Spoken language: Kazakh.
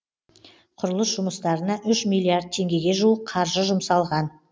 құрылыс жұмыстарына үш миллиард теңгеге жуық қаржы жұмсалған